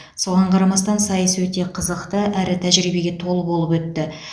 соған қарамастан сайыс өте қызықты әрі тәжірибеге толы болып өтті